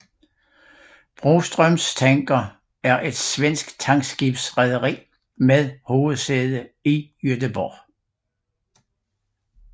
Broström Tankers er et svensk tankskibsrederi med hovedsæde i Göteborg